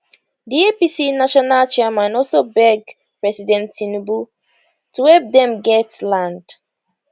di apc national chairman also beg president tinubu to help dem get land